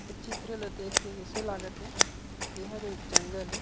ए चित्र ला देख के अइसे लागत हे एहर एक जंगल ए ।